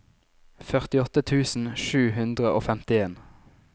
førtiåtte tusen sju hundre og femtien